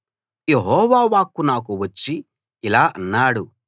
యెహోవా వాక్కు నాకు వచ్చి ఇలా అన్నాడు